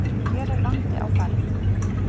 En hér er vandi á ferð.